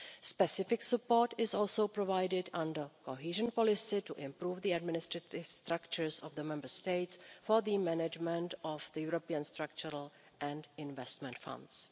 Specific support is also provided under cohesion policy to improve the administrative structures of the Member States for the management of the European Structural and Investment Funds.